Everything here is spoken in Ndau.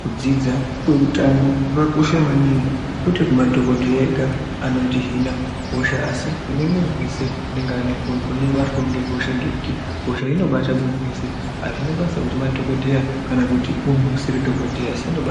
kudzidza kweutano kakakosha maningi kwete kumadhogodheya ega anotihina hosha. Asi kune muntu vese inobatwavo ngehosha ngekuti hosha iyi inobata muntu vese hazvina basa kuti madhogodheya kana kuti muntu usiri dhogodheya, asi inobata.